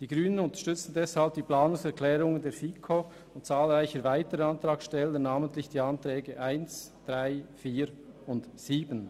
Die Grünen unterstützen die Planungserklärungen der FiKo und zahlreicher weiterer Antragsteller, namentlich die Planungserklärungen 1, 2, 3 und 5.